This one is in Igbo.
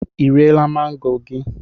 Ị riela mango gị?